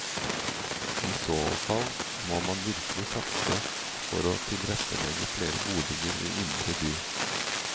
I så fall må man virkelig satse for å tilrettelegge flere boliger i indre by.